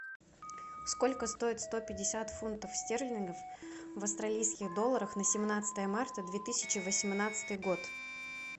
сколько стоит сто пятьдесят фунтов стерлингов в австралийских долларах на семнадцатое марта две тысячи восемнадцатый год